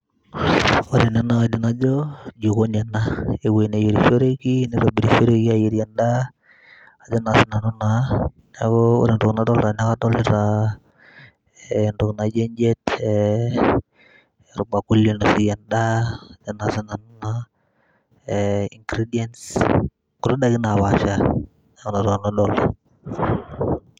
ore ena kaidim najo jikoni ena ewueji neyierishoreki nitobirishoreki ayierie endaa ajo naa sinanu naa, neeku ore entoki nadolta naa, neeku kadolita eh, entoki naijio enjiet eh, orbakuli oinosieki endaa ajo naa sinanu naa eh, ingredients nkuti daikin napaasha neeku inatoki nanu adolta.